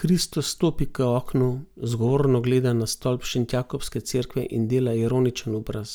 Kristo stopi k oknu, zgovorno gleda na stolp Šentjakobske cerkve in dela ironičen obraz.